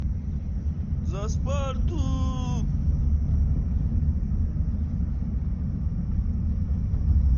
за спарту